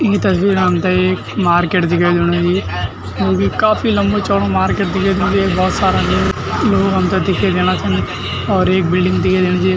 ई तस्वीर म हमथे एक मार्किट दिखे देणु ई जूकी काफी लम्बू चौडो मार्किट दिखे दिनु येक भौत सारा लूग लोग हमथे दिखे देना छन और एक बिल्डिंग दिखे देणी चि।